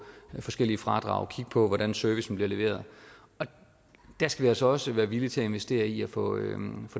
forskellige fradrag kigge på hvordan servicen bliver leveret vi skal altså også være villige til at investere i at få